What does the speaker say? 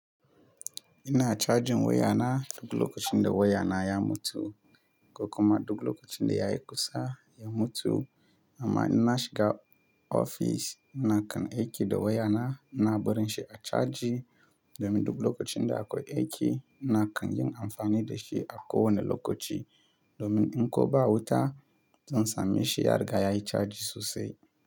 Ina cajin wayana, duk lokacin da wayana ya mutu ko kuma duk lokacin da ya yi kusa ya mutu. Amma in na shiga ofis, nakan aiki da wayana. Ina barin shi a caji domin duk lokacin da akwai aiki, nakan yin amfani da shi a kowane lokaci. Domin in koba wuta, zan same shi har ga ya yi caji sosai.